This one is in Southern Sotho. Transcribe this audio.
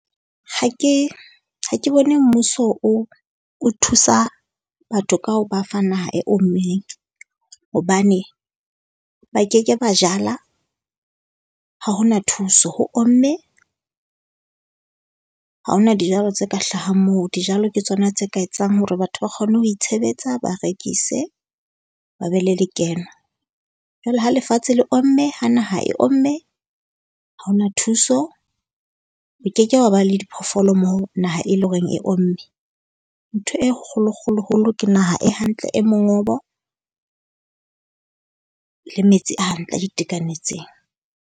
Ha ke ha ke bone mmuso o o thusa batho ka ho ba fa naha e ommeng, hobane ba ke ke ba jala ha ho na thuso. Ho omme, ha ho na dijalo tse ka hlahang moo. Dijalo ke tsona tse ka etsang hore batho ba kgone ho itshebetsa, ba rekise, ba be le lekeno. Jwale ha lefatshe le omme ha naha e omme. Ha ho na thuso. Ho ke ke hwa ba le diphoofolo moo naha e leng hore e omme. Ntho e kgolo kgolo kgolo ke naha e hantle, e mongobo. Le metsi a hantle a itekanetseng.